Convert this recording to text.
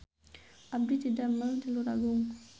Abdi didamel di Luragung